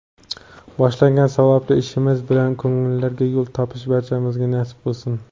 Boshlagan savobli ishimiz bilan ko‘ngillarga yo‘l topish barchamizga nasib qilsin!.